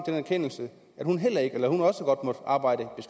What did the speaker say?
erkendelse at hun også godt måtte arbejde